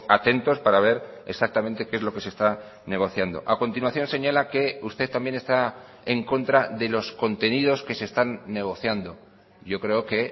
atentos para ver exactamente qué es lo que se está negociando a continuación señala que usted también está en contra de los contenidos que se están negociando yo creo que